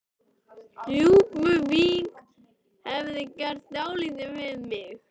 Djúpuvík hefði gert dálítið við mig.